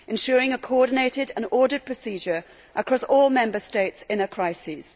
ensuring a coordinated and ordered procedure across all Member States in a crisis